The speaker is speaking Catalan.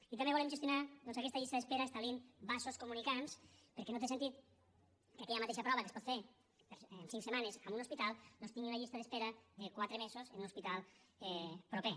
i també volem gestionar doncs aquesta llista d’espera establint vasos comunicants perquè no té sentit que aquella mateixa prova que es pot fer en cinc setmanes en un hospital doncs tingui una llista d’espera de quatre mesos en un hospital proper